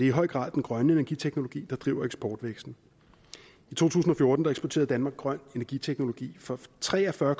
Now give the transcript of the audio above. i høj grad den grønne energiteknologi der driver eksportvæksten i to tusind og fjorten eksporterede danmark grøn energiteknologi for tre og fyrre